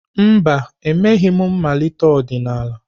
Mba, emeghị m mmalite ọdịnala.